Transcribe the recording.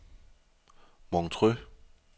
Montreux